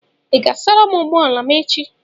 Ị ga-asara m ụgbọ ala m echi?